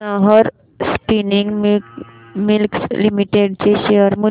Nahar Spinning Mills Limited चे share मूल्य